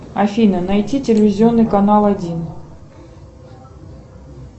афина найти телевизионный канал один